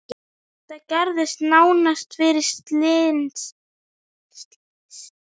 Þetta gerðist nánast fyrir slysni.